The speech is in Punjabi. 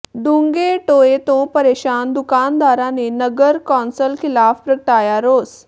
ਡੂੰਘੇ ਟੋਏ ਤੋਂ ਪ੍ਰੇਸ਼ਾਨ ਦੁਕਾਨਦਾਰਾਂ ਨੇ ਨਗਰ ਕੌਾਸਲ ਿਖ਼ਲਾਫ਼ ਪ੍ਰਗਟਾਇਆ ਰੋਸ